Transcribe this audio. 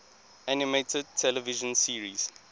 animated television series